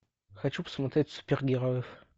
хочу посмотреть супергероев